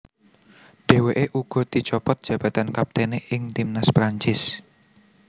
Dheweke uga dicopot jabatan kaptene ing timnas Prancis